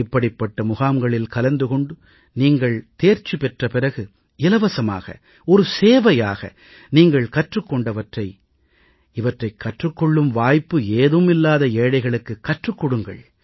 இப்படிப்பட்ட முகாம்களில் கலந்து கொண்டு நீங்கள் தேர்ச்சி பெற்ற பிறகு இலவசமாக ஒரு சேவையாக நீங்கள் கற்றுக் கொண்டவற்றை இவற்றைக் கற்றுக் கொள்ளும் வாய்ப்பு ஏதும் இல்லாத ஏழைகளுக்குக் கற்றுக் கொடுங்கள்